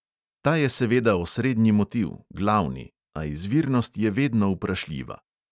Ta je seveda osrednji motiv, glavni; a izvirnost je vedno vprašljiva.